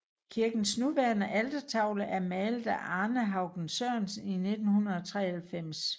Kirkens nuværende altertavle er malet af Arne Haugen Sørensen i 1993